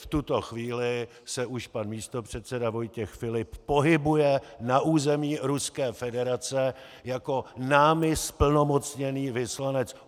V tuto chvíli se už pan místopředseda Vojtěch Filip pohybuje na území Ruské federace jako námi zplnomocněný vyslanec.